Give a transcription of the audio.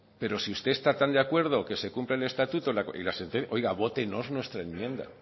pero si usted esta tan de acuerdo que se cumpla el estatuto y la sentencia oiga vótenos nuestra enmienda